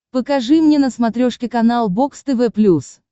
покажи мне на смотрешке канал бокс тв плюс